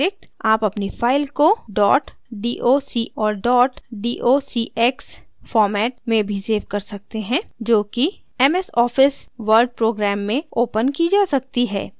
आप अपनी file को dot doc और dot docx format में भी सेव कर सकते हैं जो कि MS office ms office word program में opened की जा सकती है